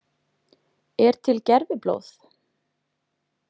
Er til gerviblóð?